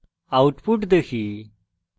output দেখি